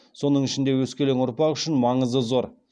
соның ішінде өскелең ұрпақ үшін маңызы зор